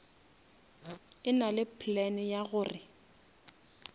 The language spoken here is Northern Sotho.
e nale plan ya gore